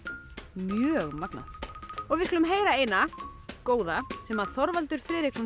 mjög magnað við skulum heyra eina góða sem Þorvaldur Friðriksson